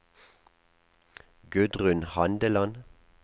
Gudrun Handeland